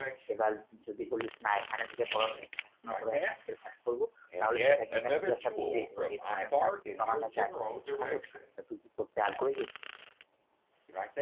এবার উম যদি বলিস না এখানে থেকে পড়াশোনা bank এর কাজ করব তাহলে সেটা কিন্তু আমি তোকে একটা দেখে দিতে পারব, এই ধরনের কাজ কিন্তু আমার কাছে আছে, খুব সহজ কাজ. তা তুই কি করতে আগ্রহী?